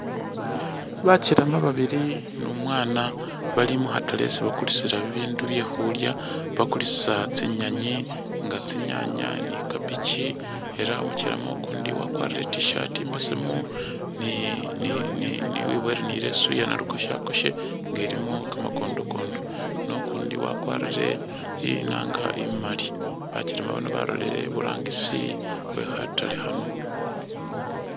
Bakelema babili numwaana bali mukhatale isi bakulisila bibindu byekhulya bakulisa tsinyenyi nga tsinyanya ni kapichi ela umukelema ukundi wakwalire i't-shirt imbesemu ni ni wibowele ni leso iya nalukoshakosha nga ilimo kamakondokondo ne ukundi wakwalire inaanga imaali, bakelema bano balolele i'burangisi wekhatale khano